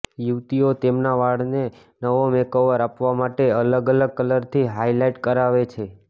યુવતીઓ તેમના વાળને નવો મેકઓવર આપવા માટે અલગ અલગ કલરથી હાઇલાઇટ કરાવે છે